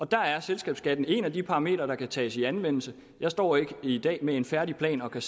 der er selskabsskatten et af de parametre der kan tages i anvendelse jeg står ikke i dag med en færdig plan og kan